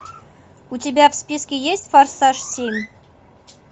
у тебя в списке есть форсаж семь